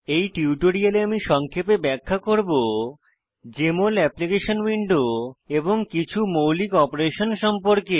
এই টিউটোরিয়ালে আমি সংক্ষেপে ব্যাখ্যা করব জেএমএল অ্যাপ্লিকেশন উইন্ডো এবং কিছু মৌলিক অপারেশন সম্পর্কে